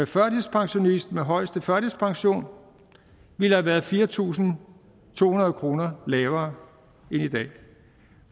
førtidspensionist med højeste førtidspension ville have været fire tusind to hundrede kroner lavere end i dag